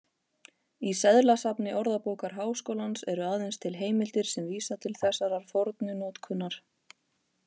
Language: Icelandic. Í seðlasafni Orðabókar Háskólans eru aðeins til heimildir sem vísa til þessarar fornu notkunar.